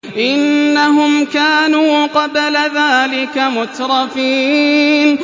إِنَّهُمْ كَانُوا قَبْلَ ذَٰلِكَ مُتْرَفِينَ